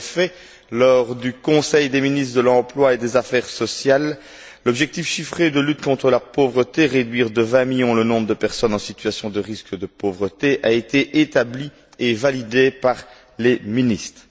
En effet, lors du Conseil des ministres de l'emploi et des affaires sociales, l'objectif chiffré de lutte contre la pauvreté réduire de 20 millions le nombre de personnes en situation de risque de pauvreté a été établi et validé par les ministres.